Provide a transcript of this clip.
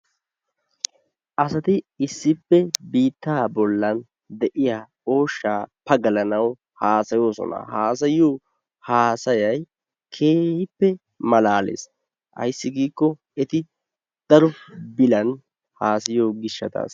Asati issippe biittaa bollan de'iya ooshaa pagalanawu haasayoosona. Haasayiyo haasayay keehippe malaalees. Ayssi giikko eti daro bilan haasayiyo gishshatassa.